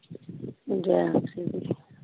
ਜੈ ਦੀ।